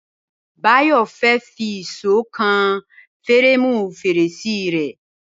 Báyò̩ fé̩ fi ìs̩ó kan fíréèmù fèrèsé rè̩